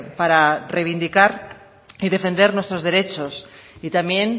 para reivindicar y defender nuestros derechos y también